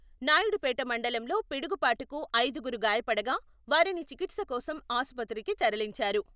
నాయుడుపేట మండలంలో పిడుగుపాటుకు ఐదుగురు గాయపడగా..వారిని చికిత్స కోసం ఆసుపత్రికి తరలించారు.